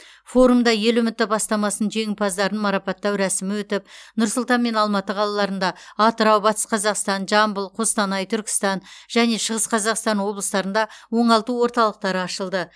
форумда ел үміті бастамасының жеңімпаздарын марапаттау рәсімі өтіп нұр сұлтан мен алматы қалаларында атырау батыс қазақстан жамбыл қостанай түркістан және шығыс қазақстан облыстарында оңалту орталықтары ашылды